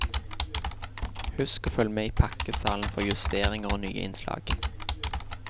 Husk å følg med i pakkesalen for justeringer og nye innslag.